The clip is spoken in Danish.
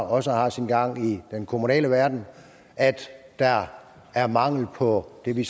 også har sin gang i den kommunale verden at der er mangel på det vi